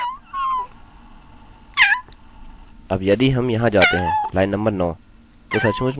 तो सचमुच में यह एक बहुत ही सरल कोड है यदि यह थोड़ा ज्यादा जटिल होता आप लाइन 9 पर आते किन्तु वास्तव में यह लाइन 9 है